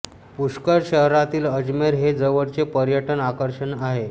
पुष्कर शहरातील अजमेर हे जवळचे पर्यटन आकर्षण आहे